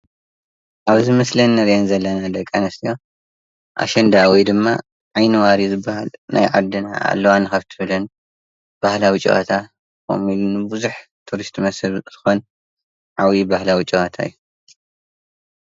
ኣብዚ ምስሊ ንርኤን ዘለና ደቂ ኣንስትዮ ኣሸንዳ ወይ ድማ ዓይኒዋሪ ዝባሃል ናይ ዓድና ኣለዋ ካብ ትብለን ባህላዊ ጨወታ ከምኡ ውን ብዙሕ ቱሪስት መስሓብ ዝኾን ዓብዪ ባህላዊ ጨዋታ እዩ።